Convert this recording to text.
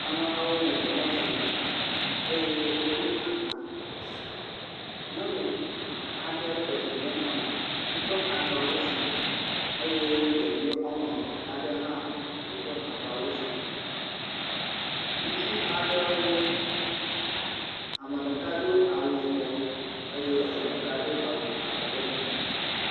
Ameha aɖewo le mɔ zɔm eyen wodo agba za, nyɔnu aɖe kpa vi ɖe me, yiƒe agbawo sugbɔ eye ɖevi woame eve aɖe hã woƒe agbawo sugbɔ. Ŋutsu aɖewo, ame ɖeka do awu yibɔ eye ame ɖeka do awu abɔ legbe.